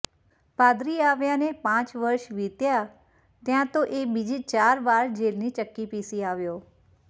પાદરી આવ્યાને પાંચ વર્ષ વીત્યાં ત્યાં તો એ બીજી ચાર વાર જેલની ચક્કી પીસી આવ્યો